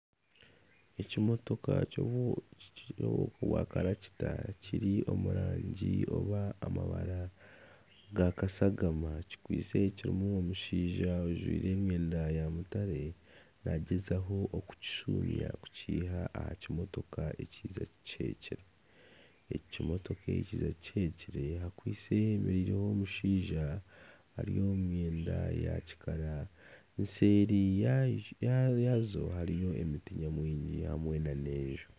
Ekimotoka kya karakita kiri omu rangi oba amabara gaakashagama kirimu omushaija ojwire emyenda ya mutaare, naagyezaho kukishumya kukiiha aha kimotoka ekiija kikihekire, ekimotoka ekiija kikihekire hemereireho omushaija, eseeri yaabyo hariyo emiti nyamwingi hamwe nana enju